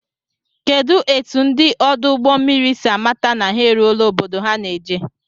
Kedụ etụ ndị ọdụ ụgbọ mmiri si amata na ha eruọla obodo ha ná-eje?